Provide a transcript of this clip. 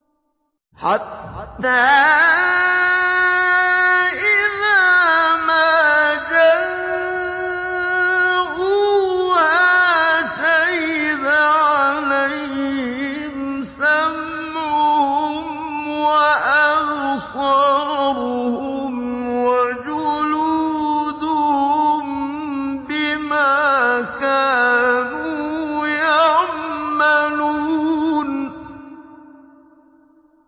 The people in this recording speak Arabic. حَتَّىٰ إِذَا مَا جَاءُوهَا شَهِدَ عَلَيْهِمْ سَمْعُهُمْ وَأَبْصَارُهُمْ وَجُلُودُهُم بِمَا كَانُوا يَعْمَلُونَ